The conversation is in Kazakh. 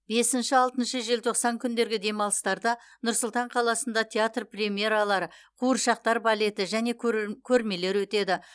бесінші алтыншы желтоқсан күндергі демалыстарда нұр сұлтан қаласында театр премьералары қуыршақтар балеті және көр көрмелер өтеді